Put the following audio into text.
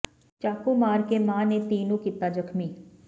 ਚਾਕੂ ਮਾਰ ਕੇ ਮਾਂ ਨੇ ਧੀ ਨੂੰ ਕੀਤਾ ਜ਼ਖਮੀ